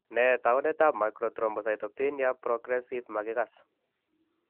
Nee taakunetaab Macrothrombocytopenia progresiive makikass?